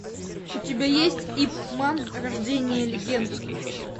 у тебя есть ип ман рождение легенды